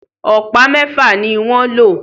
Ọ̀pá mẹfa ní wan ló